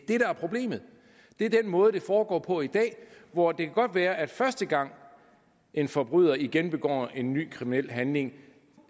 er problemet det er den måde det foregår på i dag hvor det godt kan være at første gang en forbryder igen begår en ny kriminel handling